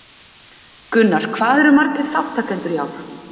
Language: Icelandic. Gunnar, hvað eru margir þátttakendur í ár?